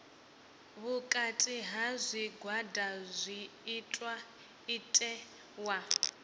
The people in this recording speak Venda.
vhukati ha zwigwada zwi itiwa